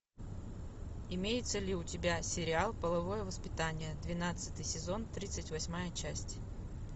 имеется ли у тебя сериал половое воспитание двенадцатый сезон тридцать восьмая часть